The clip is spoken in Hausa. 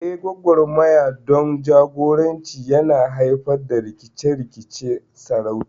Eh, gwagwarmaya don jagoranci yana haifar da rikice-rikicen sarauta.